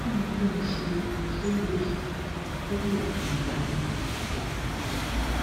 kini kin se isolo yi ti lo fun odun meje sehin